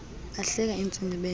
bahleka intsini menyo